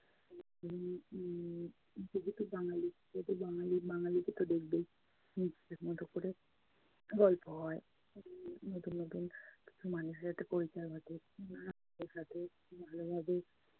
উম যেহেতু বাঙালি, সেহেতু বাঙালি বাঙালি কে তো দেখবেই নিজেদের মতো করে। গল্প হয়, নতুন নতুন উম কিছু মানুষের সাথে পরিচয় ঘটে। উম তাদের সাথে ভালোভাবে